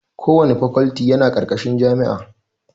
Kowanne fakalti yana ƙarƙashin jami'a